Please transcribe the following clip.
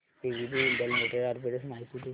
ABB India limited arbitrage माहिती दे